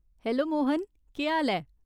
Hello Mohan, केह् हाल ऐ?